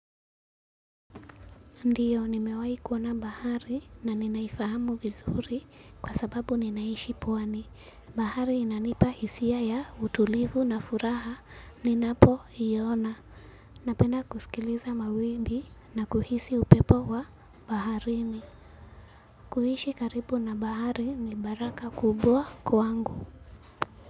Ndio nimewai kuona bahari na ninaifahamu vizuri kwa sababu ninaishi pwani. Bahari inanipa hisia ya utulivu na furaha ninapo iona. Napenda kusikiliza mawimbi na kuhisi upepo wa baharini. Kuishi karibu na bahari ni baraka kubwa kwangu.